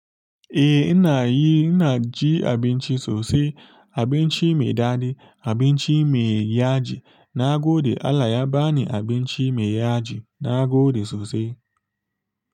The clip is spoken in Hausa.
Eh ina yi, ina ji abinci sosai, abinci mai daɗi, abinci me yaji na gode. Allah ya bani abinci me yaji nagode sosai.